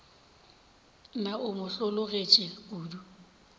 na o mo hlologetše kodu